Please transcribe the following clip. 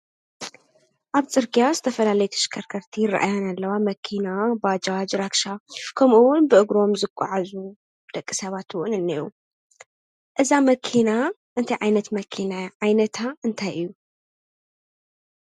ኣብ ፅርጊያ ዝተፈላለያ ተሽከርከርቲ ይረኣያና ኣለዋ፡፡ መኪና፣ ባጃጅ፣ ራክሻ ከምኡውን ብእግሮም ዝጎዓዙ ደቂ ሰባት እውን እኒአዉ፡፡ እዛ መኪና እንታይ ዓይነት መኪና እያ? ዓይነታ እንታይ እዩ?